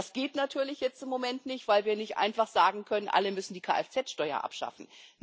Das geht natürlich jetzt im Moment nicht, weil wir nicht einfach sagen können Alle müssen die Kfz Steuer abschaffen.